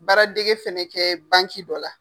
Baara dege fɛnɛ kɛ dɔ la.